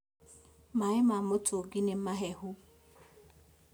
Maĩ ma mũtũngi nĩ mahehu